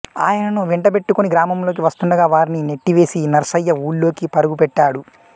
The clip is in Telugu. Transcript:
ఆయనను వెంటబెట్టుకొని గ్రామంలోకి వస్తుండగా వారిని నెట్టివేసి నర్సయ్య ఊళ్లోకి పరుగుపెట్టాడు